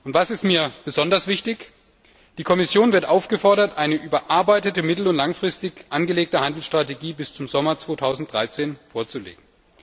Was mir besonders wichtig ist Die Kommission wird aufgefordert, eine überarbeitete, mittel und langfristig angelegte Handelsstrategie bis zum Sommer 2013 vorzulegen.